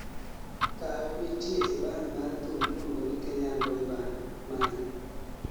Kaw nitie e band mar thum miluongo ni 'Kenyan boyband' mage